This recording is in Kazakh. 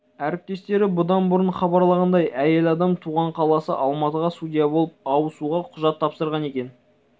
әріптестері бұдан бұрын хабарлағандай әйел адам туған қаласы алматыға судья болып ауысуға құжат тапсырған екен